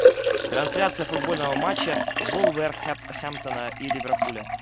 трансляция футбольного матча вулверхэмптона и ливерпуля